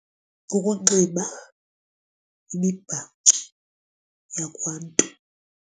Kukunxiba imibhaco yakwaNtu.